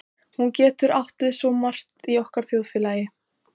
Hún getur átt við svo margt í okkar þjóðfélagi.